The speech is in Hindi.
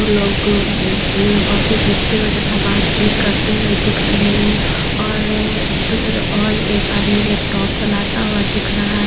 लोगों ने कॉफी पीते हुए तथा बातचीत करते हुए दिख रहे हैं और दो और एक आदमी लैपटॉप चलता हुआ दिख रहा है।